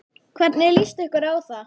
Hvernig líst ykkur á það?